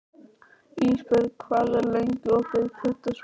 Ísbjörg, hvað er lengi opið í Pétursbúð?